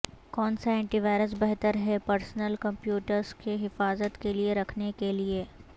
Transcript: کون سا antivirus بہتر ہے پرسنل کمپیوٹرز کی حفاظت کے لیے رکھنے کے لئے